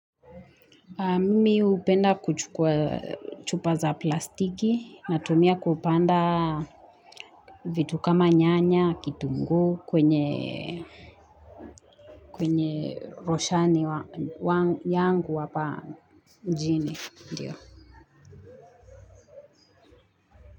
Mimi upenda kuchukua chupa za plastiki na tumia kupanda vitu kama nyanya kitungu kwenye roshani yangu wapa njini ndio.